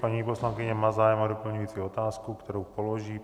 Paní poslankyně má zájem o doplňující otázku, kterou položí.